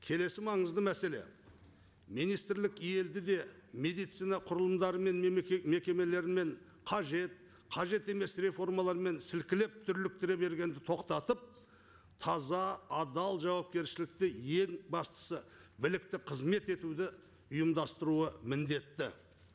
келесі маңызды мәселе министрлік елді де медицина құрылымдары мен мекемелерімен қажет қажет емес реформалармен сілкілеп түрліктіре бергенді тоқтатып таза адал жауапкершілікті ең бастысы білікті қызмет етуді ұйымдыстаруы міндетті